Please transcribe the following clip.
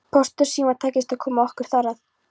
Pósti og Síma tækist að koma okkur þar að.